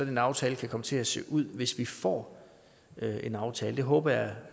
en aftale kan komme til at se ud hvis vi får en aftale det håber jeg